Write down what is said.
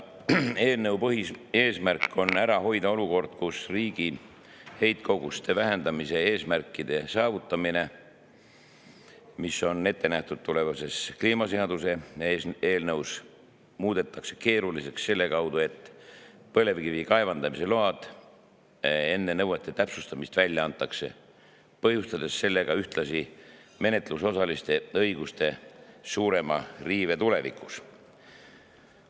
Eelnõu põhieesmärk on ära hoida olukord, kus riigi heitkoguste vähendamise eesmärkide saavutamine, mis on ette nähtud tulevases kliimaseaduse eelnõus, muudetakse keeruliseks selle kaudu, et põlevkivi kaevandamise load antakse välja enne nõuete täpsustamist, põhjustades sellega ühtlasi menetlusosaliste õiguste suurema riive tulevikus.